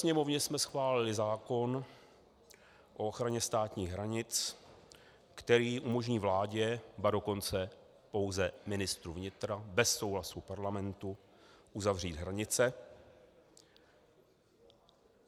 Sněmovně jsme schválili zákon o ochraně státních hranic, který umožní vládě, ba dokonce pouze ministru vnitra bez souhlasu parlamentu uzavřít hranice.